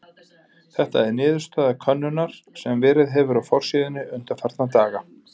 Þetta er niðurstaða könnunar sem verið hefur á forsíðunni undanfarna daga.